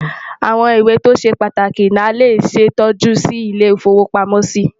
àwọn ìwé tó ṣé pàtàkì nà lè ṣé tọjú Si ilé ifowo pàmò sí